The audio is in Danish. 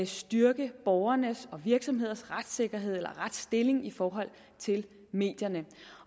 styrke borgernes og virksomhedernes retssikkerhed eller retsstilling i forhold til medierne